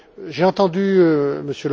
l'heure, j'ai entendu